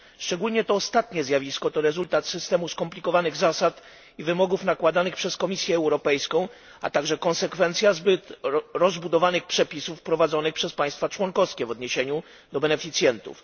Szczególnie to ostatnie zjawisko to rezultat systemu skomplikowanych zasad i wymogów nakładanych przez Komisję Europejską, a także konsekwencja zbyt rozbudowanych przepisów wprowadzonych przez państwa członkowskie w odniesieniu do beneficjentów.